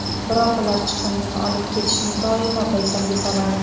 Biroq ular chiqindini olib ketishni doimo paysalga soladi.